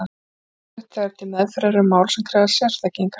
Þetta getur verið hentugt þegar til meðferðar eru mál sem krefjast sérþekkingar.